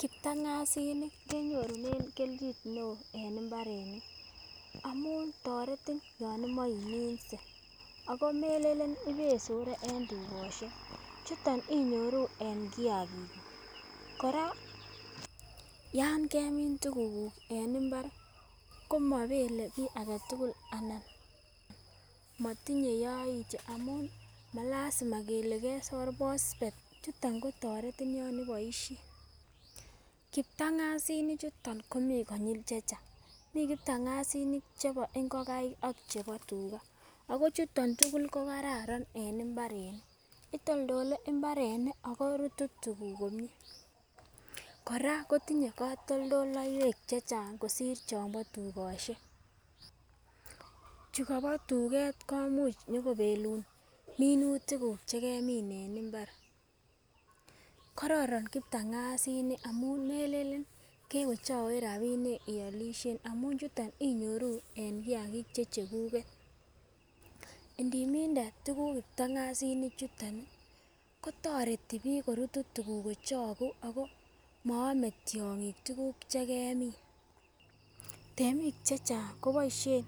Kiptangazinik kenyorunen keljin neo en imbarenik amun toreti yon imoi iminse, ako melelen ibesore en tukoshek chuton inyoruu en kiyakiki kuk. Koraa yon kemin tukuguk en imbar komobele kii agetukul anan motinye yoityo amun malasima kele kesor phosphet chuton kotoretin yon iboishei. Kiptangazinik chuton komii konyil chechang, Mii kiptanzinik chebo ingokaik ak chebo tugaa ako chuton tukuk ko kararan en imbarenik, itoldole imbarenik ako rutu tukuk komie. Koraa kotinye kotoldoleiwek chechang kosir chombo tukoshek chuu Kobo tuget komuch nyokebelun minutik kuk chekemin en imbat. Kororon kiptangezinik amun melelen kewechowech rabinik ioloshen amun chuton inyoru en kiyagik che chekuget, indiminde tukuk kiptangezinik chuton nii kotoreti bik korutu tukuk kochoku ako mo ome tyongik tukuk chekemin. Temik chechang koboishen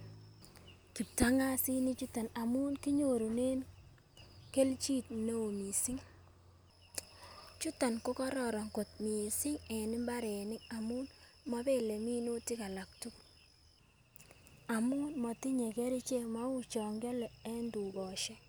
kiptangazinik chuton amun kinyorunen keljin neo missing, chuton ko kororon kot missing en imbarenik amun mobile minutik alak tukuk amun motinye kerichek mou chon kiole en tukoshek.